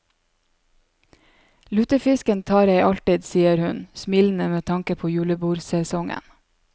Lutefisken tar jeg alltid, sier hun, smilende med tanke på julebordsesongen.